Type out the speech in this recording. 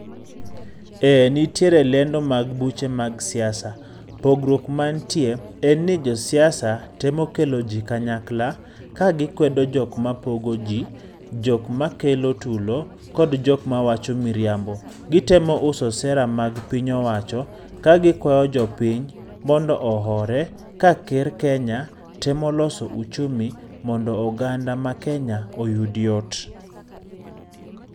Ee, nitire lendo mag buche mag siasa. Pogruok mantie, en ni josiasa temo kelo jii kanyakla, ka gikwedo jok mapogo gi, jok makelo tulo, kod jok mawacho miriambo. Gitemo uso sera mag piny owacho, ka gikwayo jopiny mondo ohore, ka ker Kenya temo loso uchumi mondo oganda ma Kenya oyud yot.